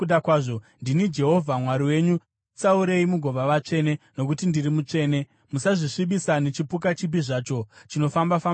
Ndini Jehovha Mwari wenyu, zvitsaurei mugova vatsvene, nokuti ndiri mutsvene. Musazvisvibisa nechipuka chipi zvacho chinofamba-famba pasi.